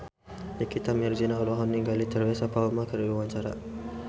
Nikita Mirzani olohok ningali Teresa Palmer keur diwawancara